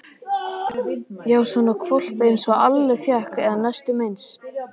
Já, svona hvolp einsog Alli fékk, eða næstum eins.